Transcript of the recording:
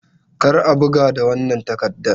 Kar a buga da wannan takardan!